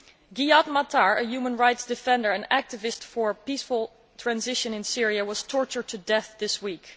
Ghayath Mattar, a human rights defender and activist for a peaceful transition in Syria, was tortured to death this week.